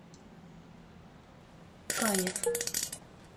канев